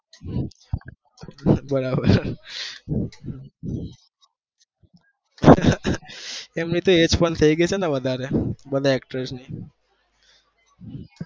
બરાબર એમની તો ઉમર પણ થઇ ગયી હવે વધારે